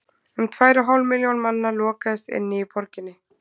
um tvær og hálf milljón manna lokaðist inni í borginni